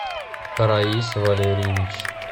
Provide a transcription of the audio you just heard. раис валерьевич